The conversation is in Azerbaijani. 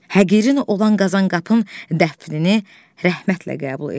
Həqirin olan Qazanqapının dəfnini rəhmətlə qəbul elə.